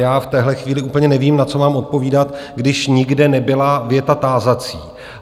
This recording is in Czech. Já v téhle chvíli úplně nevím, na co mám odpovídat, když nikde nebyla věta tázací.